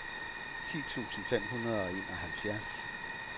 ti tusind fem hundrede og enoghalvfjerds